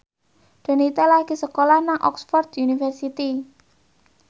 Donita lagi sekolah nang Oxford university